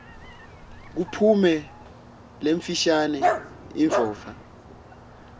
kuphume lemfishane indvodza